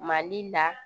Mali la